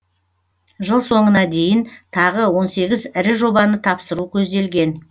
жыл соңына дейін тағы он сегіз ірі жобаны тапсыру көзделген